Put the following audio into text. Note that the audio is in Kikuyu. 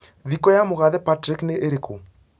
thikũ ya mũgathe Patrick nĩĩriĩku